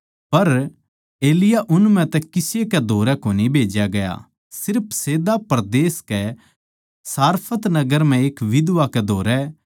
पर एलिय्याह उन म्ह तै किसे कै धोरै कोनी भेज्या गया सिर्फ सैदा परदेस कै सारफत नगर म्ह एक बिधवा कै धोरै